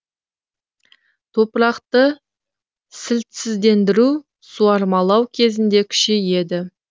топырақты сілтісіздендіру суармалау кезінде күшейеді